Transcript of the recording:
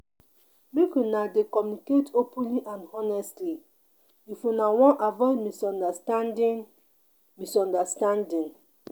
Make una dey communicate openly and honestly if una wan avoid misunderstanding. misunderstanding.